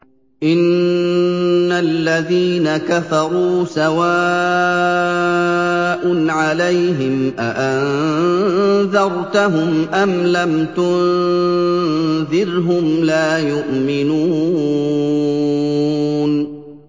إِنَّ الَّذِينَ كَفَرُوا سَوَاءٌ عَلَيْهِمْ أَأَنذَرْتَهُمْ أَمْ لَمْ تُنذِرْهُمْ لَا يُؤْمِنُونَ